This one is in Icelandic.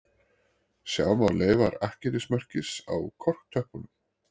Sjá má leifar akkerismerkis á korktöppunum